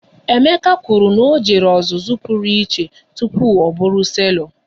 Emeka kwụrụ na ọ jere ọzụzụ pụrụ iche tụpụ ọ bụrụ selọ